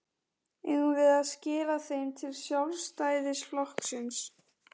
Eigum við að skila þeim til Sjálfstæðisflokksins?